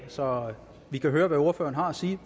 så vi kan høre hvad ordføreren har at sige